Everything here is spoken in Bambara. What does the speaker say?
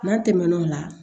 N'an tɛmɛn'o la